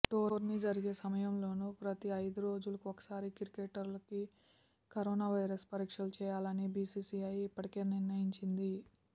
tourney జరిగే సమయంలోనూ ప్రతి ఐదు రోజులకి ఒకసారి క్రికెటర్కి కరోనా వైరస్ పరీక్షలు చేయాలని బీసీసీఐ ఇప్పటికే నిర్ణయించింది